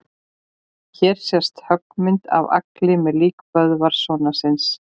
Hér sést höggmynd af Agli með lík Böðvars sonar síns.